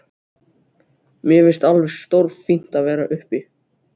Mér finnst alveg stórfínt að vera uppi.